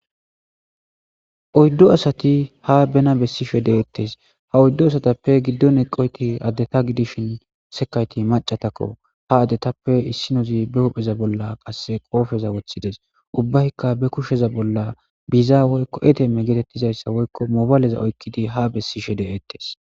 oyddu asati ha bena bessishe deettes ha oyddu asatappe giddo eqoyti addeta gidishin sekayti macatakko ha adetappe issinozi be hupheza bolla qasse qoofeza woththides ubbaykka be kusheza bolla bizaa woykko etemme geetettizayssa woykko mobaleza oykkidi ha bessishe deeettes.